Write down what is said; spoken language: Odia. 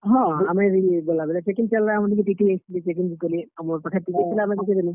ହଁ, ଆମେ ଗଲାବେଲେ checking ଚାଲ୍ ଲା, ଆମର୍ ନିକେ TTE ଆସିଥିଲେ। checking ବି କଲେ, ଆଉ ମୋର୍ ପାଖେ ticket ଥିଲା ମୁଇଁ ଦେଖେଇ ଦେଲିଁ।